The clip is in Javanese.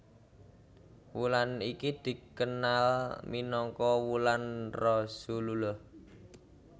Wulan iki dikenal minangka wulan Rasulullah